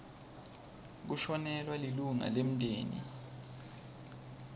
kushonelwa lilunga lemndeni